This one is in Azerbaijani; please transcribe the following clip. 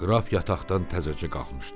Qraf yataqdan təzəcə qalxmışdı.